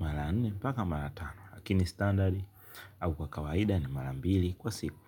mara nne hadi mara tano, lakini standard au kwa kawaida ni mara mbili kwa siku.